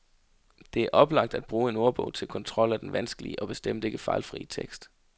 Det er oplagt at bruge en ordbog til kontrol af den vanskelige og bestemt ikke fejlfrie tekst.